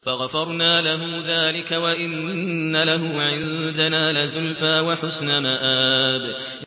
فَغَفَرْنَا لَهُ ذَٰلِكَ ۖ وَإِنَّ لَهُ عِندَنَا لَزُلْفَىٰ وَحُسْنَ مَآبٍ